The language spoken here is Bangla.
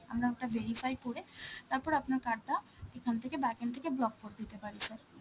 আমরা ওটা verify করে, তারপর আপনার card টা এখান থেকে, back end থেকে block করে দিতে পারি sir.